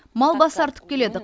мал басы артып келеді